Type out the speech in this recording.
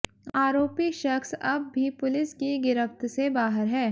आरोपी शख़्स अब भी पुलिस की गिरफ़्त से बाहर है